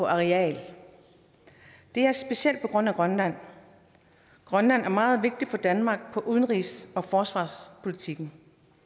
areal det er specielt på grund af grønland grønland er meget vigtig for danmark udenrigs og forsvarspolitikken